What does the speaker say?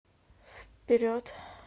вперед